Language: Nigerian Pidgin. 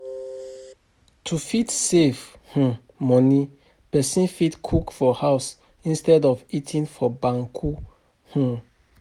To fit save um money, person fit cook for house instead of eating for bukka um